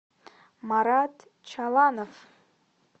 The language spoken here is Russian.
марат чаланов